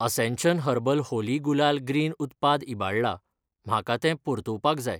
Ascension herbal Holi gulal green उत्पाद इबाडला, म्हाका तें परतुवपाक जाय.